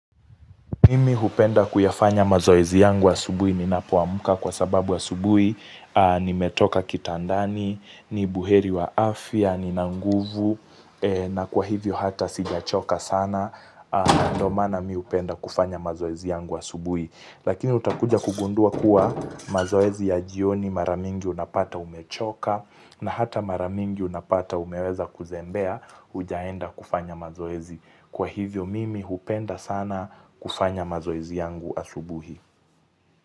Mimi hupenda kuyafanya mazoezi yangu wa asubui, ninapo amuka kwa sababu wa asubui, ni metoka kitandani, ni buheri wa afia, ni nanguvu, na kwa hivyo hata sijachoka sana, ndomana mi hupenda kufanya mazoezi yangu asubui. Lakini utakuja kugundua kuwa mazoezi ya jioni maramingi unapata umechoka na hata maramingi unapata umeweza kuzembea ujaenda kufanya mazoezi. Kwa hivyo mimi hupenda sana kufanya mazoezi yangu asubuhi.